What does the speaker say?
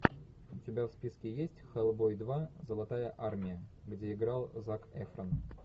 у тебя в списке есть хеллбой два золотая армия где играл зак эфрон